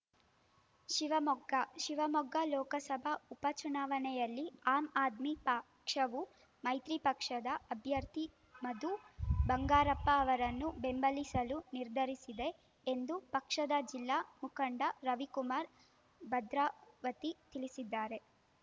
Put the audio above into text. ಶಿವಮೊಗ್ಗ ಶಿವಮೊಗ್ಗ ಲೋಕಸಭಾ ಉಪಚುನಾವಣೆಯಲ್ಲಿ ಆಮ್‌ ಆದ್ಮಿ ಪಕ್ಷವು ಮೈತ್ರಿ ಪಕ್ಷದ ಅಭ್ಯರ್ಥಿ ಮಧು ಬಂಗಾರಪ್ಪ ಅವರನ್ನು ಬೆಂಬಲಿಸಲು ನಿರ್ಧರಿಸಿದೆ ಎಂದು ಪಕ್ಷದ ಜಿಲ್ಲಾ ಮುಖಂಡ ರವಿಕುಮಾರ್ ಭದ್ರಾವತಿ ತಿಳಿಸಿದ್ದಾರೆ